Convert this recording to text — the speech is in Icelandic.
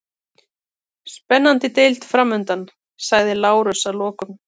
Spennandi deild framundan, sagði Lárus að lokum.